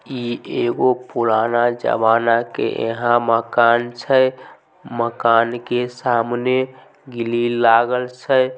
ई एगो पुराना जमाना के यहाँ मकान छै मकान के सामने ग्रिल लागल छै ।